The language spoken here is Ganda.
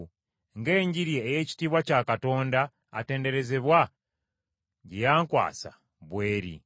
ng’Enjiri ey’ekitiibwa kya Katonda atenderezebwa, gye yankwasa bw’eri.